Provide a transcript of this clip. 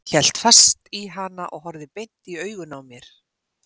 Hélt fast í hana og horfði beint inn í augun á mér.